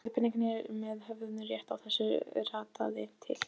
Skyldu peningarnir sem höfðu rétt í þessu ratað til